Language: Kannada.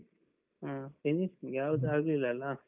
ಹ್ಮ್. finishing ಯಾವ್ದು ಆಗ್ಲಿಲ್ಲ ಅಲಾ?